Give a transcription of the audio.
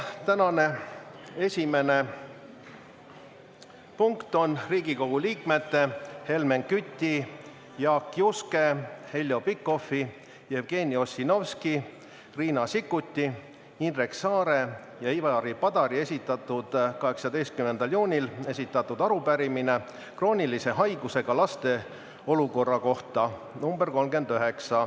Tänane esimene punkt on Riigikogu liikmete Helmen Küti, Jaak Juske, Heljo Pikhofi, Jevgeni Ossinovski, Riina Sikkuti, Indrek Saare ja Ivari Padari 18. juunil esitatud arupärimine kroonilise haigusega laste olukorra kohta .